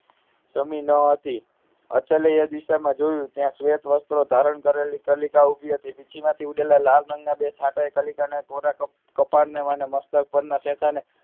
સમી ન હતી અચલ એ દિશામાં જોયું ત્યાં શ્વેત વસ્ત્રો ધારણ કરેલી કલિકા ઊભી હતી પીછી માંથી ઉડેલા લાલ રંગ બે છાંટા કલિકા ના કોરા કપાળે અને મસ્તક પર ના શેઠા ને